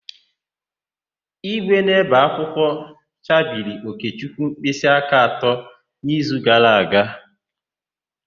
Ígwè na-ébè akwụkwọ chabiri Okechukwu mkpịsịaka atọ n'izu gara aga.